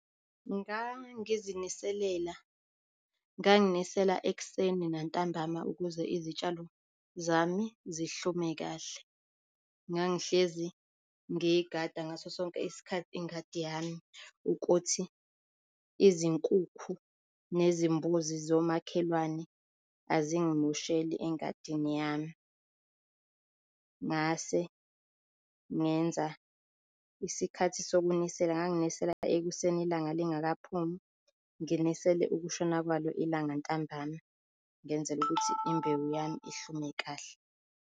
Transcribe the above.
Ngangiziniselela nganginisela ekuseni nantambama ukuze izitshalo zami zihlume kahle. Ngangihlezi ngiyigada ngaso sonke isikhathi ingadi yami ukuthi izinkukhu nezimbuzi zomakhelwane azingimosheli engadini yami. Ngase ngenza isikhathi sokunisela, nganginisela ekuseni ilanga lingakaphumi nginisele ukushona kwalo ilanga ntambana ngenzela ukuthi imbewu yami ihlume kahle.